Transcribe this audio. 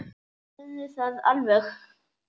Geturðu það alveg?